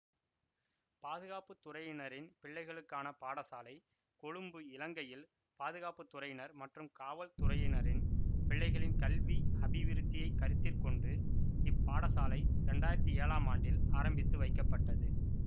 பாதுகாப்பு துறையினரின் பிள்ளைகளுக்கான பாடசாலை கொழும்பு இலங்கையில் பாதுகாப்பு துறையினர் மற்றும் காவல் துறையினரின் பிள்ளைகளின் கல்வி அபிவிருத்தியைக் கருத்திற்கொண்டு இப் பாடசாலை இரண்டாயிரத்தி ஏழாம் ஆண்டில் ஆரம்பித்துவைக்கப்பட்டது